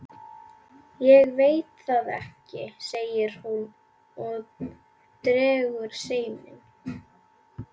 Ég veit það ekki, segir hún og dregur seiminn.